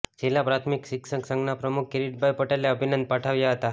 જિલ્લા પ્રાથમિક શિક્ષક સંઘના પ્રમુખ કિરીટભાઈ પટેલે અભિનંદન પાઠવ્યા હતા